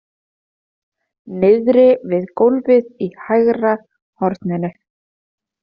Niðri við gólfið í hægra horninu!